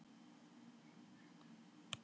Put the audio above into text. Í dag geri ég það.